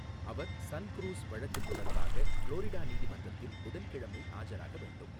அவர் SunCruz வழக்குத் தொடர்பாக Florida நீதிமன்றத்தில் புதன்கிழமை ஆஜராக வேண்டும்.